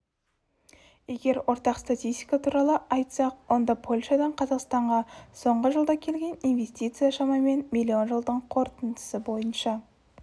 егер ортақ статистика туралы айтсақ онда польшадан қазақстанға соңғы жылда келген инвестицияшамамен миллион жылдың қорытындысы бойынша